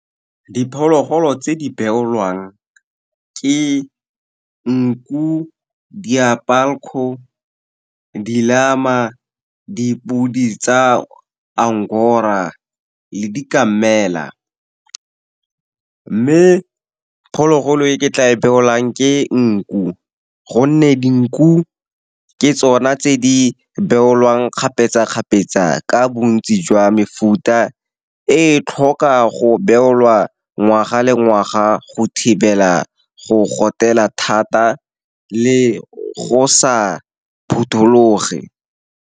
Diphologolo tse di beolwang ke nku, diabulko, dillama, dipodi tsa Angora le dikamela. Mme phologolo e ke tla e beolang ke nku, gonne dinku ke tsona tse di beolwang kgapetsa-kgapetsa ka bontsi jwa mefuta. E tlhoka go beolwa ngwaga le ngwaga go thibela go gotela thata le go sa phuthologe.